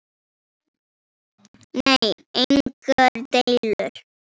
Nei, engar deilur.